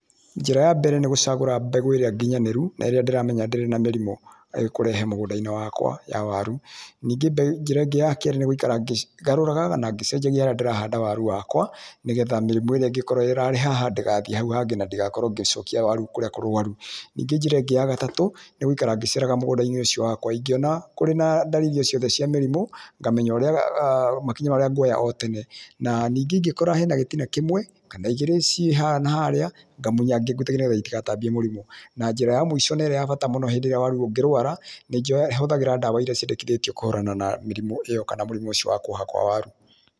Njĩra ya mbere nĩ gũcagũra mbegũ ĩrĩa nginyanĩru na ĩrĩa ndĩramenya ndĩrĩ na mĩrimũ ĩkũrehe mũgũndainĩ wakwa ya waru, ningĩ njĩra ĩngĩ ya kerĩ nĩ gũikara ngĩgarũraga na ngĩcenjagia haria ndĩrahanda waru wakwa nĩgetha mĩrimũ ĩrĩa ĩngĩkrwo ĩrarĩ haha ndĩgathie hau hangĩ na ndigakorwo ngĩcokia waru kũrĩa kũrũaru. Ningĩ njĩra ĩngĩ ya gatatũ nĩ gũikara ngĩceraga mũgũndainĩ ũcio wakwa ingĩona kũrĩ na ndariri o ciothe cia mũrimũ ngamenya makinya marĩa nguoya o tene, na ningĩ ingĩkora gitina kĩmwe kana igĩrĩ cĩe haha na harĩa ngamunya ngĩengũtie itigatambie mũrimũ. Ningĩ njĩra ya mũico na ĩrĩa ya bata mũno hĩndĩ ĩrĩa waru ũngĩrũara nĩ hũthagĩra ndawa iria ciendekithĩti kũhũrana na mũrimũ ĩyo kana ũcio wakwa wa waru.